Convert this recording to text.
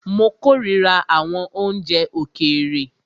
Mó kòrira àwọn oúnjẹ òkèèrè.